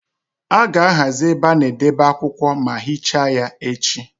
A ga-ahazi ebe a na-edebe akwụkwọ ma hichaa ya echi.